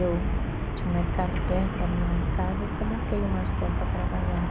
Eu tinha um mercado perto da minha casa, eu coloquei o Marcelo para trabalhar.